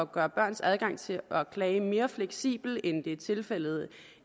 gøre børns adgang til at klage mere fleksibel end det er tilfældet